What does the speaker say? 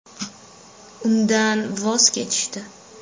Undan voz kechishdi.